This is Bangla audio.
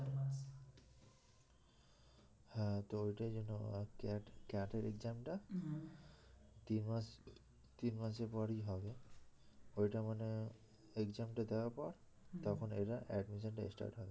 হ্যাঁ তো ওইটার জন্য CAT এর exam টা তিনমাস তিনমাসের পরই হবে ওইটা মানে exam টা দেবার পর তখন এরা admission টা start হবে